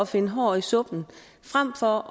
finde hår i suppen frem for